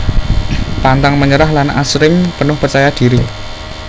Pantang menyerah lan asring penuh percaya diri